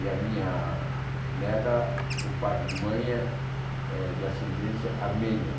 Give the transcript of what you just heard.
E a minha neta, por parte de mãe, é é de ascendência armênia.